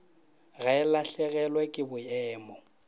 ga e lahlegelwe ke boemo